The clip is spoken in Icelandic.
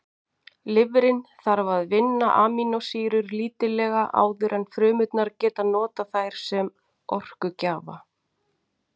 Lifrin þarf að vinna amínósýrur lítillega áður en frumurnar geta notað þær sem orkugjafa.